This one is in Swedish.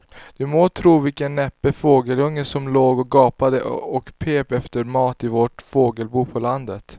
Du må tro vilken näpen fågelunge som låg och gapade och pep efter mat i vårt fågelbo på landet.